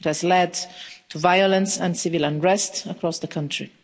It has led to violence and civil unrest across the country.